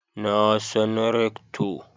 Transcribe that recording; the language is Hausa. Na san Rector